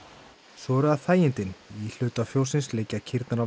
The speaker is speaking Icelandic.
svo eru það þægindin í hluta fjóssins liggja kýrnar á